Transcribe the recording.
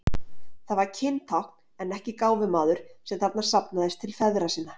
Það var kyntákn en ekki gáfumaður sem þarna safnaðist til feðra sinna.